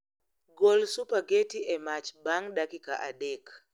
Gol supageti e mach bang' dakika adek